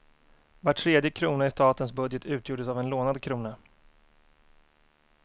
Var tredje krona i statens budget utgjordes av en lånad krona.